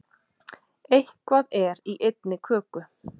Eitthvað er í einni köku